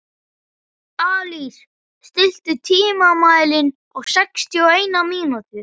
Alís, stilltu tímamælinn á sextíu og eina mínútur.